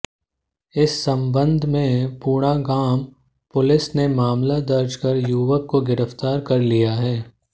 इस संबंध में पूणागाम पुलिस ने मामला दर्ज कर युवक को गिरफ्तार कर लिया है